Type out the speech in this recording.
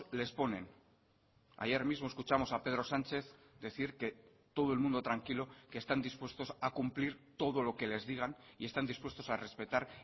les ponen ayer mismo escuchamos a pedro sánchez decir que todo el mundo tranquilo que están dispuestos a cumplir todo lo que les digan y están dispuestos a respetar